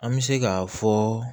An bɛ se k'a fɔ